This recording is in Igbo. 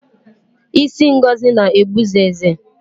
Ịsị Ngozi na-egbu zeze